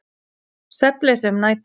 Svefnleysi um nætur.